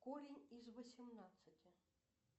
корень из восемнадцати